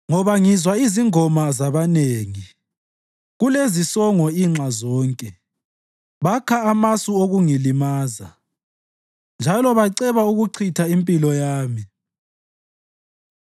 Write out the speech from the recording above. Ngoba ngizwa izingoma zabanengi; kulezisongo inxa zonke; bakha amasu okungilimaza, njalo baceba ukuchitha impilo yami.